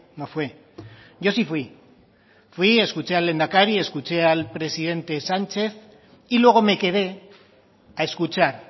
no fue yo sí fui fui escuché al lehendakari escuché al presidente sánchez y luego me quedé a escuchar